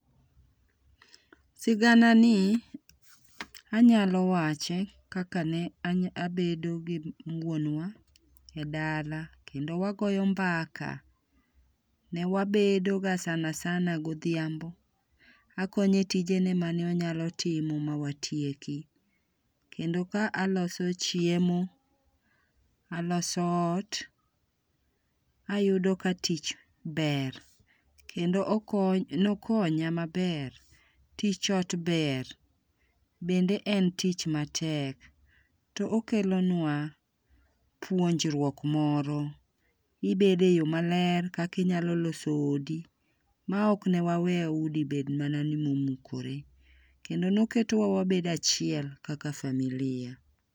Sigana ni anyalo wach ekaka ne abedo gi wuonwa e dala kendo wagoyo mbaka. Ne wabedo ga sana sana godhiambo, akonye tijene mane onyalotimo motieki kendo ka alos chiemo, aloso ot ,ayudo ka tich ber kendo okonya, ne okony amaber. Tich ot ber bende en tich matek to okelonwa puonjruok moro. Ibedo e yoo maler kaka inyalo loso odi maok ne wawe udi bed mana ma omukore. Kendo ne oketo wabedo achiel kaka familia.